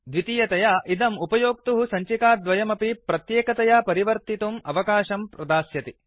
द्वितीयतया इदम् उपयोक्तुः सञ्चिकाद्वयमपि प्रत्येकतया परिवर्तितुम् आवकाशम् प्रदास्यति